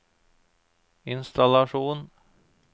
innstallasjon